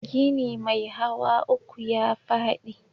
Gini mai hawa uku ya faɗi